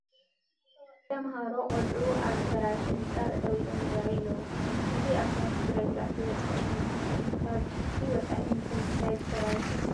ተመሃሮ ቆልዑ ኣብ ዝፈራረሰ ህንፃ ጠጠው ኢሎም ይርአዩ ኣለዉ፡፡ እዚ ኣብ ኲናት ትግራይ ጉድኣት ዝበፅሖ እዩ ዝመስል፡፡ ካብዚ ወፃኢ ብምንታይ ዝፈራረሰ ክኸውን ይኽእል?